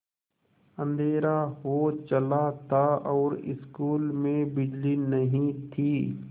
अँधेरा हो चला था और स्कूल में बिजली नहीं थी